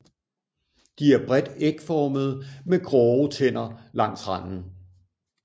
De er bredt ægformede med grove tænder langs randen